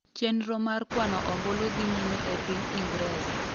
chenro mar kwano ombulu dhi nyime e piny Ingreza